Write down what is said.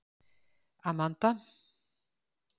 Amanda